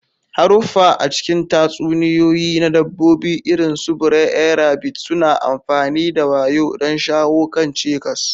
Haruffa a cikin tatsuniyoyi na Dabbobi, irin su Br'er Rabbit, suna amfani da wayo don shawo kan cikas.